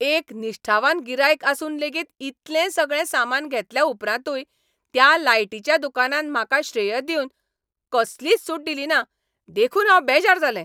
एक निश्ठावान गिरायक आसून लेगीत इतलें सगळें सामान घेतल्या उपरांतूय त्या लायटीच्या दुकानान म्हाका श्रेय दिवन कसलीच सूट दिलीना देखून हांव बेजार जालें.